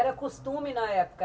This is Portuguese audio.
Era costume na época?